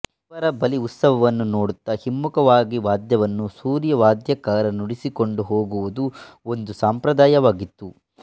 ದೇವರ ಬಲಿಉತ್ಸವವನ್ನು ನೋಡುತ್ತಾ ಹಿಮ್ಮುಖವಾಗಿ ವಾದ್ಯವನ್ನು ಸೂರ್ಯವಾದ್ಯಕಾರ ನುಡಿಸಿಕೊಂಡು ಹೋಗುವುದು ಒಂದು ಸಂಪ್ರದಾಯವಾಗಿತ್ತು